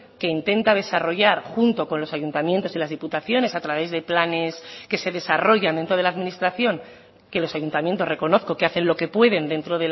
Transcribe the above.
que intenta desarrollar junto con los ayuntamientos y las diputaciones a través de planes que se desarrollan dentro de la administración que los ayuntamientos reconozco que hacen lo que pueden dentro